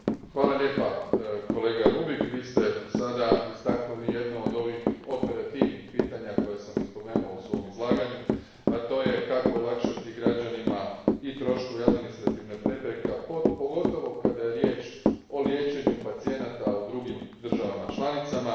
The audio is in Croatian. Hvala lijepa kolega Rübig, Vi ste sada istaknuli jedno od ovih operativnih pitanja, koje sam i spomenuo u svojem izlaganju, a to je kako olakšati građanima i troškove i administrativne prepreke, pogotovo kada je riječ o liječenju pacijenata u drugim državama članicama.